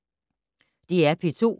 DR P2